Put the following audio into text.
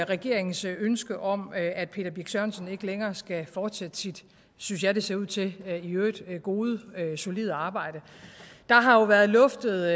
regeringens ønske om at peter birch sørensen ikke længere skal fortsætte sit synes jeg det ser ud til i øvrigt gode solide arbejde der har jo været luftet